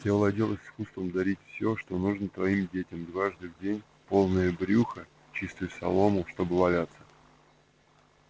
ты овладел искусством дарить всё что нужно твоим детям дважды в день полное брюхо чистую солому чтобы валяться